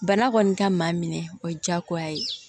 Bana kɔni ka maa minɛ o ye diyagoya ye